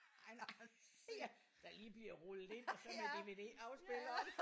Nej nej der lige bliver rullet ind og så med DVD-afspiller